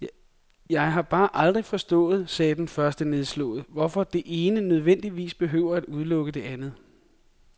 Jeg har bare aldrig forstået, sagde den første nedslået, hvorfor det ene nødvendigvis behøver at udelukke det andet.